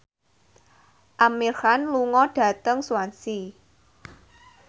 Amir Khan lunga dhateng Swansea